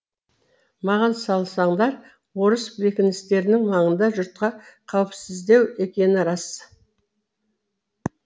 маған салсаңдар орыс бекіністерінің маңында жұртқа қауіпсіздеу екені рас